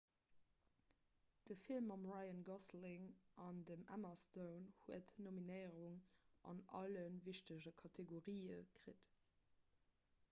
de film mam ryan gosling an dem emma stone huet nominéierungen an alle wichtege kategorië kritt